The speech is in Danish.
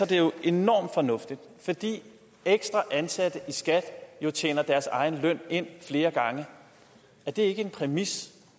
det jo enormt fornuftigt fordi de ekstra ansatte i skat tjener deres egen løn ind flere gange er det ikke en præmis